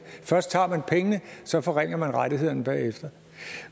først tager man pengene og så forringer man rettighederne bagefter